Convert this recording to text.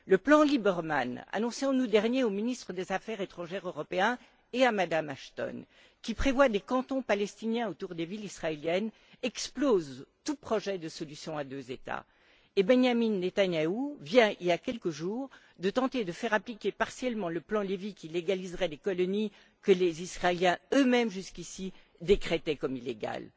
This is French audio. Le plan Lieberman annoncé en août dernier au ministre des affaires étrangères européen et à Mme Ashton, qui prévoit des cantons palestiniens autour des villes israéliennes, explose tout projet de solution à deux États et Benjamin Netanyahou vient, il y a quelques jours, de tenter de faire appliquer partiellement le rapport Levy qui légaliserait les colonies que les Israéliens eux mêmes jusqu'ici décrétaient illégales.